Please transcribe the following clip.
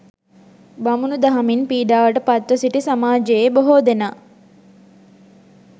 බමුණු දහමින් පීඩාවට පත්ව සිටි සමාජයේ බොහෝ දෙනා